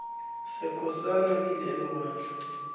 sekosana kilelo ibandla